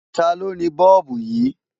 Taló ni Bọ́ọ̀bù yìí?